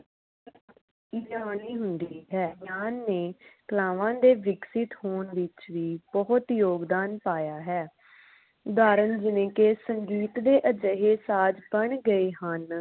ਡਾਲੀ ਹੁੰਦੀ ਹੈ ਗਿਆਨ ਨੇ ਕਲਾਵਾਂ ਦੇ ਵਿਕਸਿਤ ਹੋਣ ਵਿਚ ਵੀ ਬਹੁਤ ਯੋਗਦਾਨ ਪਾਇਆ ਹੈ। ਉਦਾਹਰਣ ਜਿਵੇ ਕਿ ਸੰਗੀਤ ਦੇ ਅਜਿਹੇ ਸਾਜ ਬਣ ਗਏ ਹਨ